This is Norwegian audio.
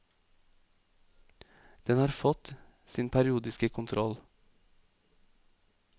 Den har fått sin periodiske kontroll.